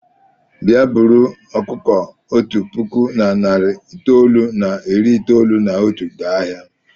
Bịa buru ọkụkọ otu puku na narị itoolu na iri itoolu na otu gaa ahịa!